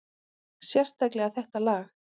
Sérstaklega þetta lag.